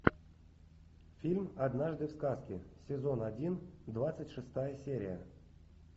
фильм однажды в сказке сезон один двадцать шестая серия